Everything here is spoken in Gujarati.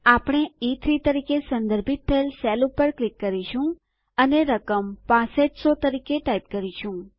આપણે ઇ3 તરીકે સંદર્ભિત થયેલ સેલ પર ક્લિક કરીશું અને રકમ 6500 તરીકે ટાઈપ કરીશું